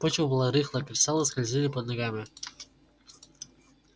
почва была рыхлая кристаллы скользили под ногами